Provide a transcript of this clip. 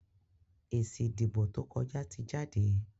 èsì ìdìbò tó kọja tí jáde